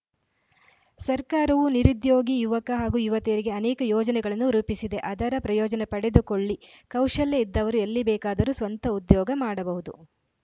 ಸರ್ಕಾರವು ನಿರುದ್ಯೋಗಿ ಯುವಕ ಹಾಗೂ ಯುವತಿಯರಿಗೆ ಅನೇಕ ಯೋಜನೆಗಳನ್ನು ರೂಪಿಸಿದೆ ಅದರ ಪ್ರಯೋಜನ ಪಡೆದುಕೊಳ್ಳಿ ಕೌಶಲ್ಯ ಇದ್ದವರು ಎಲ್ಲಿ ಬೇಕಾದರು ಸ್ವಂತ ಉದ್ಯೋಗ ಮಾಡಬಹುದು